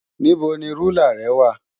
Níbo ni rúlà rẹ wà?